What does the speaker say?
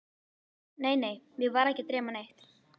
Nei, nei, mig var ekki að dreyma neitt.